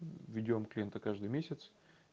ведём клиента каждый месяц